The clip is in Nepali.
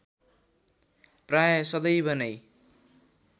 प्राय सदैव नै